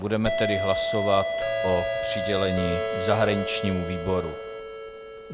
Budeme tedy hlasovat o přidělení zahraničnímu výboru.